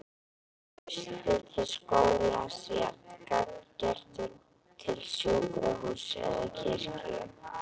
Traustið til skólans jafn gagngert og til sjúkrahúss eða kirkju.